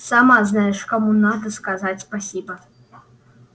сама знаешь кому надо сказать спасибо